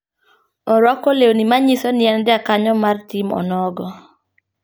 Oruako lewni manyiso ni en jakenyo mar tim onogo.